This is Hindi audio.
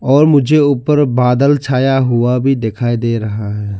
और मुझे ऊपर बादल छाया हुआ भी दिखाई दे रहा है।